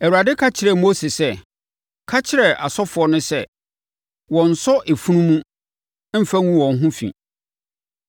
Awurade ka kyerɛɛ Mose sɛ, “Ka kyerɛ asɔfoɔ no sɛ, ‘Wɔnnsɔ efunu mu mfa ngu wɔn ho fi.